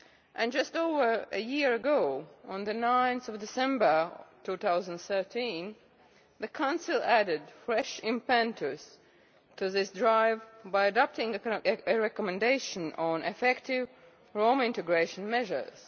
And just over a year ago, on 9 December 2013, the Council added fresh impetus to this drive by adopting a recommendation on effective Roma integration measures.